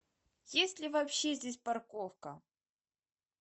есть ли вообще здесь парковка